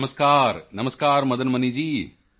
ਨਮਸਕਾਰ ਨਮਸਕਾਰ ਮਦਨ ਮਨੀ ਜੀ